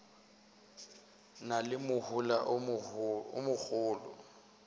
na le mohola o mogolo